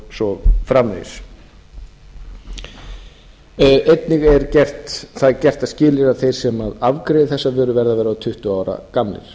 svo framvegis það er gert að skilyrði að þeir sem afgreiða þessa vöru verði að vera tuttugu ára gamlir